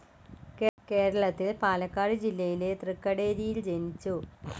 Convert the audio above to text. കേരളത്തിൽ പാലക്കാട് ജില്ലയിലെ ത്രിക്കടേരിയിൽ ജനിച്ചു.